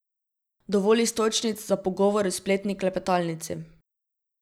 Dovolj iztočnic za pogovor v spletni klepetalnici.